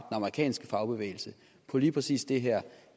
amerikanske fagbevægelse på lige præcis det her